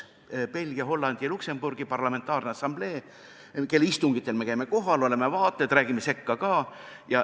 Käime Belgia, Hollandi ja Luksemburgi parlamentaarse assamblee istungitel kohal, oleme vaatlejad ja ütleme ka sõna sekka.